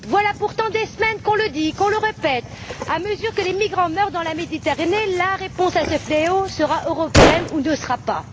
Voilà pourtant des semaines qu'on le dit et qu'on le répète, à mesure que les migrants meurent dans la Méditerranée, la réponse à ce fléau sera européenne ou ne sera pas.